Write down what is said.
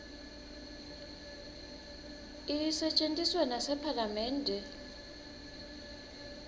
isetjentiswa nasephalamende